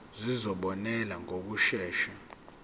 izikhalazo zizobonelelwa ngokushesha